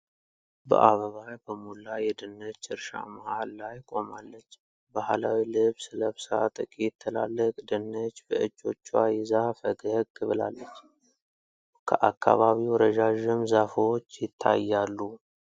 በአበባ በሞላ የድንች እርሻ መሃል ላይ ቆማለች። ባህላዊ ልብስ ለብሳ፣ ጥቂት ትላልቅ ድንች በእጆቿ ይዛ ፈገግ ብላለች። ከአካባቢዋ ረዣዥም ዛፎች ይታያሉ።